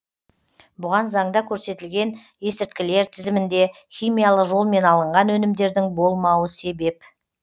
бұған заңда көрсетілген есірткілер тізімінде химиялық жолмен алынған өнімдердің болмауы себеп